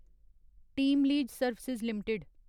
team lease service limited